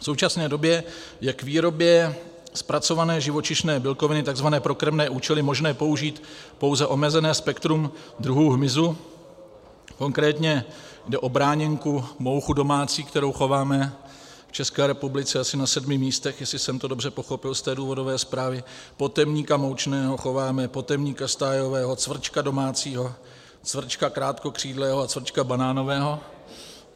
V současné době je k výrobě zpracované živočišné bílkoviny, tzn. pro krmné účely, možné použít pouze omezené spektrum druhů hmyzu, konkrétně jde o bráněnku, mouchu domácí, kterou chováme v České republice asi na sedmi místech, jestli jsem to dobře pochopil z té důvodové zprávy, potemníka moučného chováme, potemníka stájového, cvrčka domácího, cvrčka krátkokřídlého a cvrčka banánového.